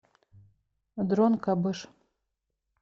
дрон кабыш